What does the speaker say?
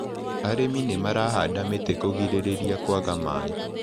Arĩmi nĩmarahanda mĩtĩ kũgirĩrĩria kwaga maĩ.